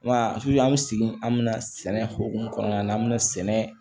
Wala an bɛ segin an bɛ na sɛnɛ hokumu kɔnɔna na an bɛna sɛnɛ